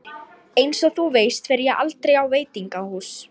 Einsog þú veist fer ég aldrei á veitingahús.